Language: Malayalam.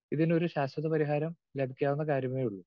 സ്പീക്കർ 2 ഇതിനൊരു ശാശ്വത പരിഹാരം ലഭിക്കാവുന്ന കാര്യമേയുള്ളൂ.